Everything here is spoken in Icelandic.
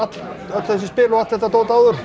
öll þessi spil og allt þetta dót áður